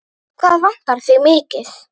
Hvað vantar þig mikið?